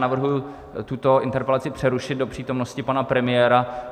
Navrhuji tuto interpelaci přerušit do přítomnosti pana premiéra.